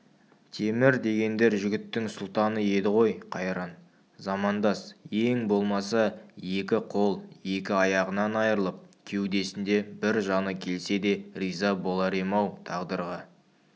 темір дегендер жігіттің сұлтаны еді ғой қайран замандас ең болмаса екі қол екі аяғынан айрылып кеудесінде бір жаны келсе де риза болар ем-ау тағдырға